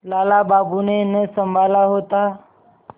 लाला बाबू ने न सँभाला होता